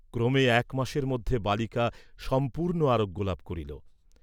ক্রমে এক মাসের মধ্যে বালিকা সম্পূর্ণ আরোগ্য লাভ করিল।